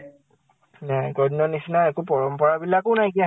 নাই, আগৰ দিনৰ নিছিনা একো পৰম্পৰা বিলাকো নাইকিয়া